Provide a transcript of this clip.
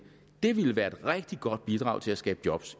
det ville være et rigtig godt bidrag til at skabe job